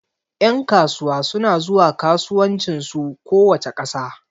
Ƴan kasuwa suna zuwa kasuwancin su kowace ƙasa